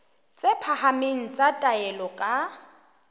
tse phahameng tsa taolo ka